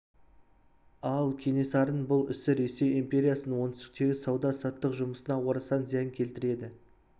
ал кенесарының бұл ісі ресей империясының оңтүстіктегі сауда-саттық жұмысына орасан зиян келтіреді